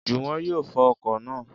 Jùwọ́n yóò fọ ọkọ̀ naa